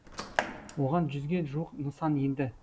оған жүзге жуық нысан енді